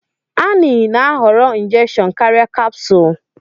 Annie na-ahọrọ injection karịa capsule.